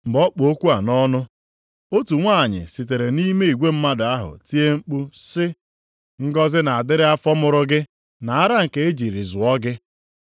Mgbe ọ kpụ okwu a nʼọnụ, otu nwanyị sitere nʼime igwe mmadụ ahụ tie mkpu sị, “Ngọzị na-adịrị afọ mụrụ gị na ara nke e jiri zụọ gị.”